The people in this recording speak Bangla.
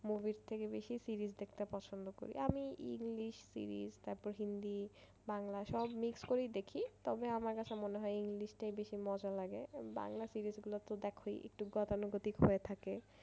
Movie র থেকে বেশি series দেখতে পছন্দ করি আমি english series তারপর hindi বাংলা সব mixed করেই দেখি। তবে আমার কাছে মনে হয় english টাই বেশি মজা লাগে বাংলা series গুলো তো দেখই একটু গতানুগতিক হয়ে থাকে।